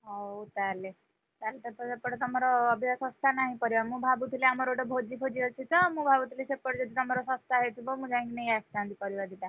ହଉ ତାହେଲେ, ତାହେଲେ ସେପଟେ ତମର ଅବିକା ଶସ୍ତା ନାହିଁ ପରିବା, ମୁଁ ଭାବୁଥିଲି ଆମର ଗୋଟେ ଭୋଜି ଫୋଜି ଅଛି ତ ମୁଁ ଭାବୁଥିଲି ସେପଟେ ଯଦି ତମର ଶସ୍ତା ହେଇଥିବ, ମୁଁ ଯାଇକି ନେଇଆସିଥାନ୍ତି ପରିବା ଦିଟା।